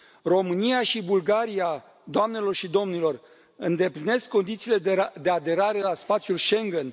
România și Bulgaria, doamnelor și domnilor, îndeplinesc condițiile de aderare la spațiul Schengen.